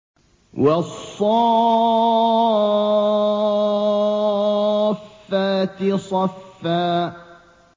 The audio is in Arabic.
وَالصَّافَّاتِ صَفًّا